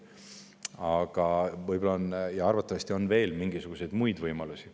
Aga arvatavasti on veel mingisuguseid muid võimalusi.